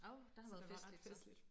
Åh der har været festligt